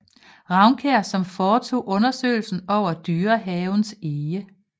Raunkiær som foretog undersøgelser over Dyrehavens ege